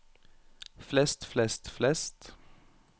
flest flest flest